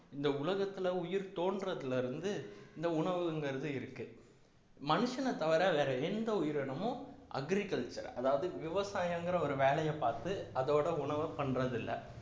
இந்த உலகத்துல உயிர் தோன்றதிலிருந்து இந்த உணவுங்கிறது இருக்கு மனுஷனைத் தவிர வேற எந்த உயிரினமும் agriculture அதாவது விவசாயங்கிற ஒரு வேலையை பார்த்து அதோட உணவு பண்றது இல்லை